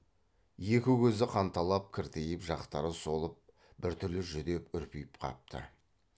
екі көзі қанталап кіртиіп жақтары солып біртүрлі жүдеп үрпиіп қапты